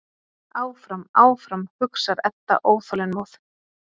Áfram, áfram, hugsar Edda óþolinmóð.